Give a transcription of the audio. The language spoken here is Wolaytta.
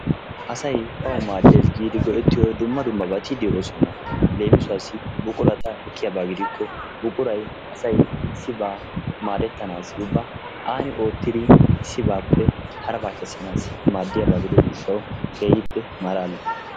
Asay bawu maaddees giidi go"ettiyoo dumma dummabati de'oosona. Leemisuwaasi buqurata ekkiyaaba gidikko buquray asay issibaa maadettanaasi ubba aani oottidi issibaappe haraabaa keessanassi maaddiyaa gidiyoo giishshawu keehippe malalees.